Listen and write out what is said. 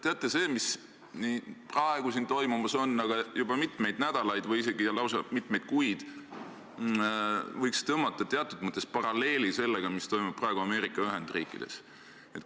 Teate, sellega, mis siin praegu toimub, juba mitmeid nädalaid või isegi kuid, võiks tõmmata teatud mõttes paralleeli sellega, mis toimub praegu Ameerika Ühendriikides.